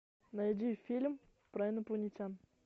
найди фильм про инопланетян